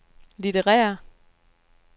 litterære